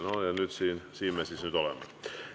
No ja siin me nüüd siis oleme.